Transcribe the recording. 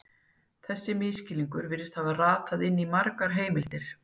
Þessi misskilningur virðist hafa ratað inn í margar heimildir.